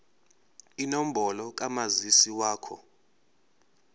inombolo kamazisi wakho